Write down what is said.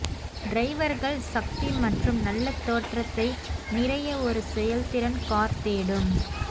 டிரைவர்கள் சக்தி மற்றும் நல்ல தோற்றத்தை நிறைய ஒரு செயல்திறன் கார் தேடும்